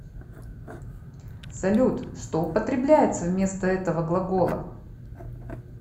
салют что употребляется вместо этого глагола